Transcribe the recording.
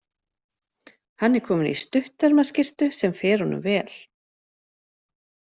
Hann er kominn í stuttermaskyrtu sem fer honum vel.